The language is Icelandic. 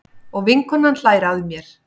Og vinkonan hlær að mér.